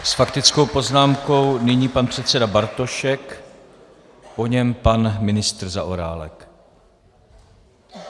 S faktickou poznámkou nyní pan předseda Bartošek, po něm pan ministr Zaorálek.